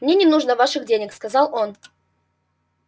мне не нужно ваших денег сказал он